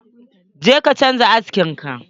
Jeka canza aski ka!